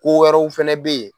Ko wɛrɛw fana bɛ yen